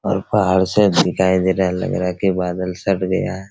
और पहाड़ साफ दिखाई दे रहा है लग रहा है कि बादल छट गया है।